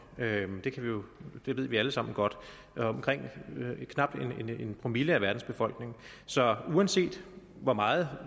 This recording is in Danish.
det ved vi alle sammen godt knap en promille af verdens befolkning så uanset hvor meget